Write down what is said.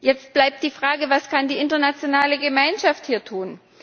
Jetzt bleibt die Frage Was kann die internationale Gemeinschaft hier tun?